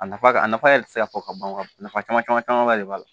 A nafa ka a nafa yɛrɛ tɛ se ka fɔ ka ban nafa caman camanba de b'a la